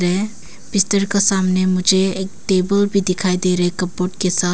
के सामने मुझे ये एक टेबल भी दिखाई दे रहे हैं कबर्ड के साथ।